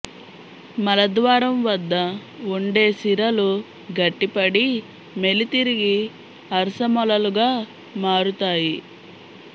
మలద్వారం వద్ద ఉండే సిరలు గట్టిపడి మెలి తిరిగి అర్శమొలలుగా మారుతాయి